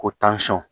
Ko